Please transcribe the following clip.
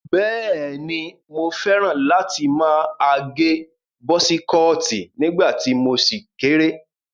Bẹ́ẹ̀ni, mo fẹ́ràn láti má agẹ bọ́sí kọọ̀tì nígbà tí mo ṣì kéré.